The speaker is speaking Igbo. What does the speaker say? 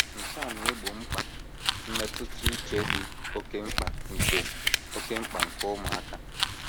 Nke a na - egbo mkpa mmetụta uche dị oké mkpa nke oké mkpa nke ụmụaka.